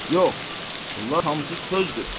Yox, onlar hamısı sözdür.